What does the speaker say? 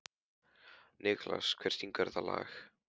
Nikulás, hver syngur þetta lag?